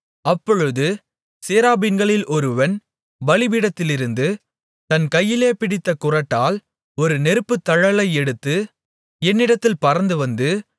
அப்பொழுது சேராபீன்களில் ஒருவன் பலிபீடத்திலிருந்து தன் கையிலே பிடித்த குறட்டால் ஒரு நெருப்புத் தழலை எடுத்து என்னிடத்தில் பறந்துவந்து